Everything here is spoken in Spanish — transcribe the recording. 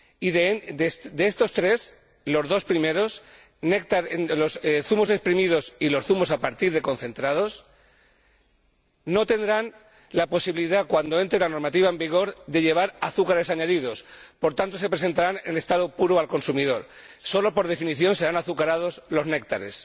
De estos tres, los dos primeros —zumos exprimidos y zumos a partir de concentrados— no tendrán la posibilidad, cuando entre la normativa en vigor, de llevar azúcares añadidos por tanto se presentarán en estado puro al consumidor y, por definición, solo serán azucarados los néctares.